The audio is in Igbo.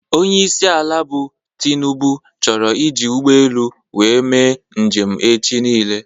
Onyeisi ala bụ Tinubu chọrọ iji ụgbọelu wee mee njem echi nile